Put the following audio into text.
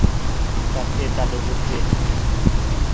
sa phetla le ho phetla